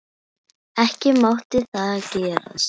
Ekki mátti það gerast.